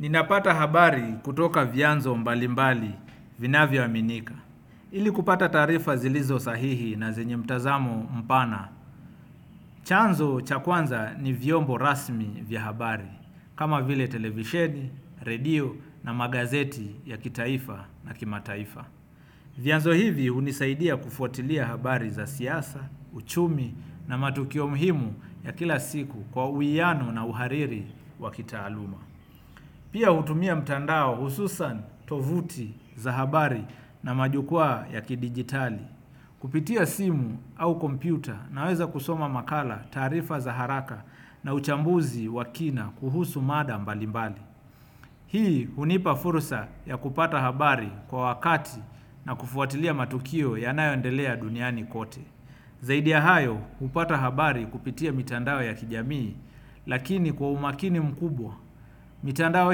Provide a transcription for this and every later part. Ninapata habari kutoka vyanzo mbali mbali vinavyo aminika. Ili kupata taarifa zilizo sahihi na zenye mtazamo mpana. Chanzo cha kwanza ni vyombo rasmi vya habari kama vile televisheni, redio na magazeti ya kitaifa na kimataifa. Vyanzo hivi hunisaidia kufuatilia habari za siasa, uchumi na matukio muhimu ya kila siku kwa uwiano na uhariri wa kitaaluma. Pia hutumia mitandao hususan tovuti za habari na majukwaa ya kidijitali. Kupitia simu au kompyuta naweza kusoma makala, taarifa za haraka na uchambuzi wa kina kuhusu mada mbali mbali hii hunipa fursa ya kupata habari kwa wakati na kufuatilia matukio yanayo endelea duniani kote. Zaidi ya hayo kupata habari kupitia mitandao ya kijamii lakini kwa umakini mkubwa. Mitandao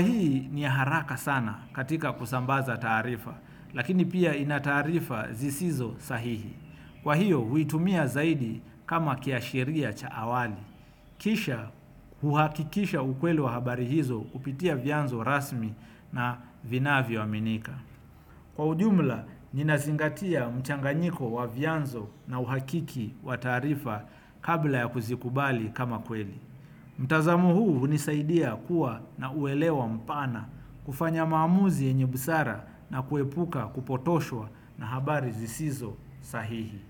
hii ni ya haraka sana katika kusambaza taarifa lakini pia ina taarifa zisizo sahihi. Kwa hiyo huitumia zaidi kama kiashiria cha awali. Kisha huhakikisha ukweli wa habari hizo kupitia vyanzo rasmi na vinavyo aminika. Kwa ujumla ninazingatia mchanganyiko wa vyanzo na uhakiki wa taarifa kabla ya kuzikubali kama kweli mtazamo huu hunisaidia kuwa na uelewa mpana kufanya maamuzi yenye busara na kuepuka kupotoshwa na habari zisizo sahihi.